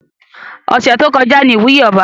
Ọ̀sẹ̀ tó kọjá ní ìwúyè ọba